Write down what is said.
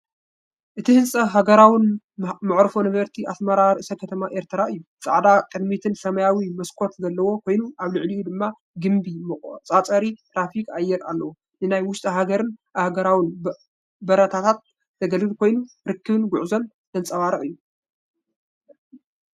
እቲ ህንጻ ኣህጉራዊ መዓርፎ ነፈርቲ ኣስመራ ርእሰ ከተማ ኤርትራ እዩ። ጻዕዳ ቅድሚትን ሰማያዊ መስኮትን ዘለዎ ኮይኑ ኣብ ልዕሊኡ ድማ ግምቢ መቆጻጸሪ ትራፊክ ኣየር ኣለዎ። ንናይ ውሽጢ ሃገርን ኣህጉራውን በረራታት ዘገልግል ኮይኑ ርክብን ጉዕዞን ዘንጸባርቕ እዩ።